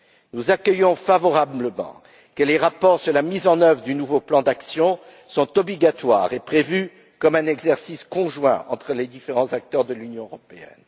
Nous accueillons favorablement le fait que les rapports sur la mise en œuvre du nouveau plan d'action soient obligatoires et prévus comme un exercice conjoint entre les différents acteurs de l'Union européenne.